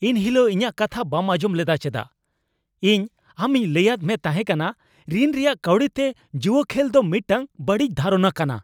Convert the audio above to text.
ᱮᱱ ᱦᱤᱞᱚᱜ ᱤᱧᱟᱜ ᱠᱟᱛᱷᱟ ᱵᱟᱢ ᱟᱸᱡᱚᱢ ᱞᱮᱫᱟ ᱪᱮᱫᱟᱜ ? ᱤᱧ ᱟᱢᱤᱧ ᱞᱟᱹᱭᱟᱫ ᱢᱮ ᱛᱟᱦᱮᱸᱠᱟᱱᱟ ᱨᱤᱱ ᱨᱮᱭᱟᱜ ᱠᱟᱹᱣᱰᱤᱛᱮ ᱡᱩᱣᱟᱹ ᱠᱷᱮᱞ ᱫᱚ ᱢᱤᱫᱴᱟᱝ ᱵᱟᱹᱲᱤᱡ ᱫᱷᱟᱨᱚᱱᱟ ᱠᱟᱱᱟ ᱾